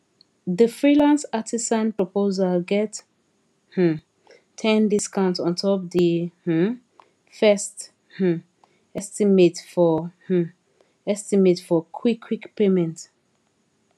the freelance artisan proposal get um ten discount ontop the um fest um estimate for um estimate for quick quick payment